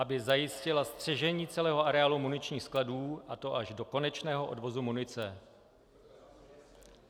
Aby zajistila střežení celého areálu muničních skladů, a to až do konečného odvozu munice.